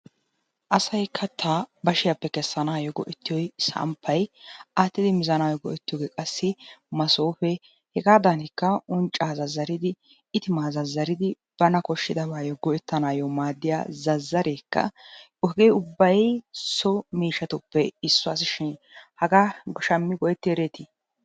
Asay kattaa bashiyappe kessanaayyo go'ettiyo samppay, aattidi mizanaayyo go'ettiyogee qassi masoofee, hegaadaanikka unccaa zazzaridi itimaa zazzaridi bana koshshidabaayyo go'ettanaayyo maaddiya zazzareekka hegee ubbay so miishshatuppe issuwashin hagaa shammi go'etti ereeti?